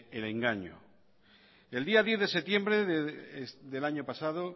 el engaño el día diez de septiembre del año pasado